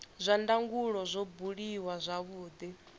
zwa ndangulo zwo buliwa zwavhudi